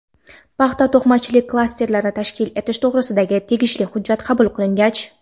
Paxta-to‘qimachilik klasterini tashkil etish to‘g‘risidagi tegishli hujjat qabul qilingach:.